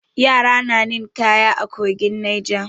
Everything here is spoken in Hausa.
Yara na ninƙaya a kogin Neja.